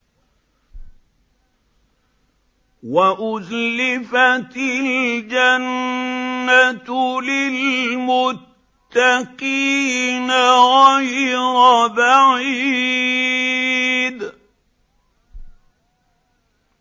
وَأُزْلِفَتِ الْجَنَّةُ لِلْمُتَّقِينَ غَيْرَ بَعِيدٍ